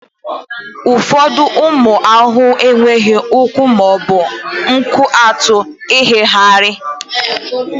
ụfọdụ ụmụ ahụhụ enweghị ụkwụ ma ọ bụ nku atụ irighiri